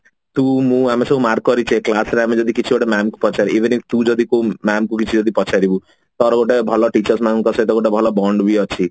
ତୁ ମୁଁ ଆମେ ସବୁ mark କରିଛେ class ରେ ଯଦି ଆମେ କିଛି ଗୋଟେ mam ଙ୍କୁ ପଚାରିବା even ତୁ ଯଦି କୋଉ mam ଙ୍କୁ କିଛି ଯଦି ପଚାରିବୁ ତୋର ଗୋଟେ ଭଲ teachers ମାନଙ୍କ ସହ ଭଲ bond ବି ଅଛି